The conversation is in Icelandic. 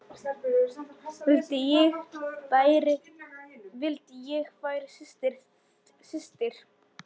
Vildi ég væri systir.